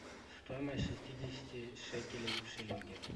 стоимость шестидесяти шекелей в шиллинги